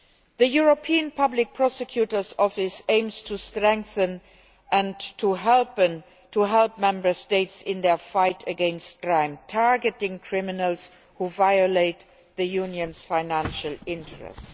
The European Public Prosecutor's Office aims to strengthen and help the Member States in their fight against crime, targeting criminals who violate the Union's financial interests.